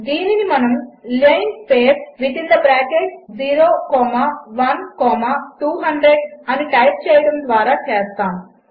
దీనినిమనముlinspace01200 అనిటైప్చేయడముద్వారాచేస్తాము